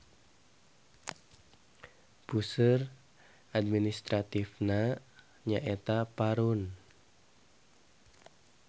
Puseur administratifna nyaeta Parun.